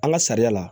An ka sariya la